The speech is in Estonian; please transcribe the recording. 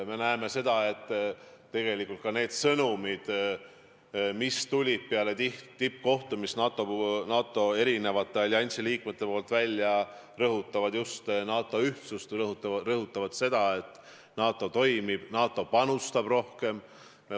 Me näeme, et tegelikult need sõnumid, mis peale tippkohtumist alliansi eri liikmed välja saatsid, rõhutavad just NATO ühtsust, rõhutavad seda, et NATO toimib, et NATO panustab rohkem.